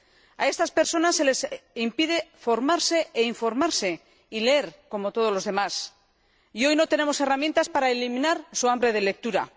A estas personas se les impide formarse, informarse y leer como todos los demás, y hoy no tenemos herramientas para eliminar su hambre de lectura.